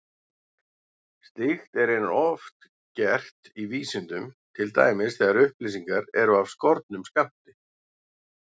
Slíkt er raunar oft gert í vísindum, til dæmis þegar upplýsingar eru af skornum skammti.